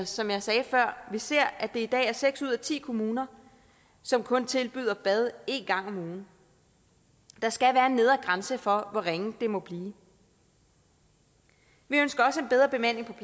som jeg sagde før ser at det i dag er seks ud af ti kommuner som kun tilbyder bad en gang om ugen der skal være en nedre grænse for hvor ringe det må blive vi ønsker også en bedre bemanding